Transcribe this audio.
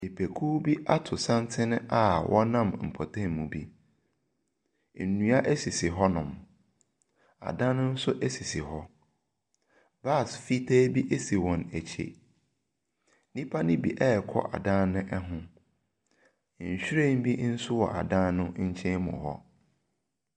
Nipakuo bi ato santene a wɔnam ɛmpɔtem bi. Ennua esisi hɔ nom, adan nso esisi hɔ. Bas fitaa bi esi wɔn ekyi. Nipa no bi ɛɛkɔ adan no ɛho. Nhwiren bi nso wɔ adan no nkyɛn mu hɔ.